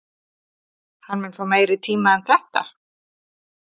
Hann mun fá meiri tíma en þetta?